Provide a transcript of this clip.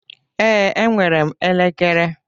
Ee, enwere m elekere.